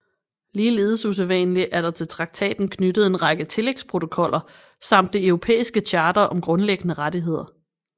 Ligeledes usædvanligt er der til traktaten knyttet en række tillægsprotokoller samt Det Europæiske Charter om Grundlæggende Rettigheder